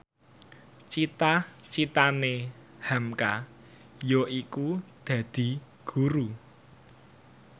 cita citane hamka yaiku dadi guru